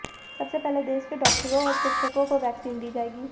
सबसे पहले देश के डॉक्टरों और शिक्षकों को वैक्सीन दी जाएगी